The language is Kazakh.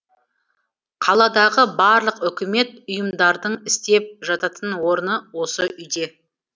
қаладағы барлық үкімет ұйымдардың істеп жататын орны осы үйде